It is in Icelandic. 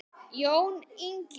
Jón Ingi.